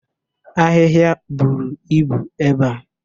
Ahịhịa buru ibu ebe a.